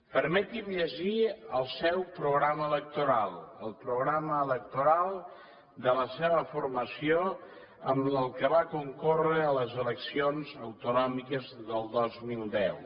permeti’m llegir el seu programa electoral el programa electoral de la seva formació amb el qual va concórrer a les eleccions autonòmiques del dos mil deu